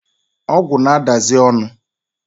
Ogwu na-adazi onu